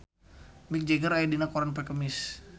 Mick Jagger aya dina koran poe Kemis